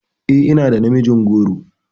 E, ina da namijin goro.